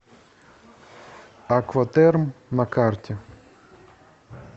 акватерм на карте